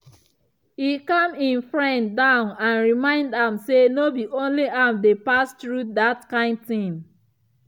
e calm him friend down and remind am say no be only am dey pass through that kind thing.